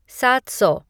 सात सौ